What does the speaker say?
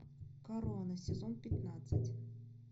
корона сезон пятнадцать